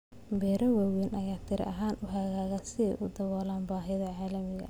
Beero waaweyn ayaa tiro ahaan u hagaaga si ay u daboolaan baahida caalamiga ah.